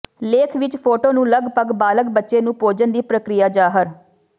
ਲੇਖ ਵਿੱਚ ਫੋਟੋ ਨੂੰ ਲਗਭਗ ਬਾਲਗ ਬੱਚੇ ਨੂੰ ਭੋਜਨ ਦੀ ਪ੍ਰਕਿਰਿਆ ਜ਼ਾਹਰ